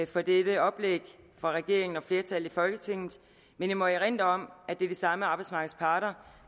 for dette oplæg fra regeringen og flertallet i folketinget men jeg må erindre om at det er de samme arbejdsmarkedets parter